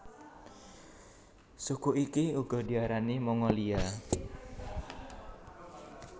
Suku iki uga diarani Mongolia